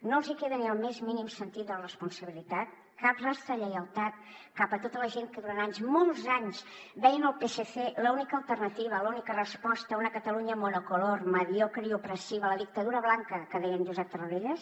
no els hi queda ni el més mínim sentit de la responsabilitat cap rastre de lleialtat cap a tota la gent que durant anys molts anys veien al psc l’única alternativa l’única resposta a una catalunya monocolor mediocre i opressiva la dictadura blanca que deia en josep tarradellas